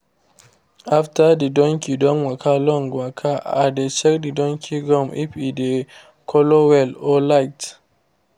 after the donkey don waka long waka i dey check the donkey gum if e dey colour well or light